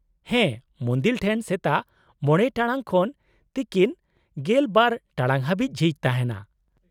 -ᱦᱮᱸ ᱾ ᱢᱩᱱᱫᱤᱞ ᱴᱷᱮᱱ ᱥᱮᱛᱟᱜ ᱕ ᱴᱟᱲᱟᱝ ᱠᱷᱚᱱ ᱛᱤᱠᱤᱱ ᱑᱒ ᱴᱟᱲᱟᱝ ᱦᱟᱹᱵᱤᱡ ᱡᱷᱤᱡ ᱛᱟᱦᱮᱱᱟ ᱾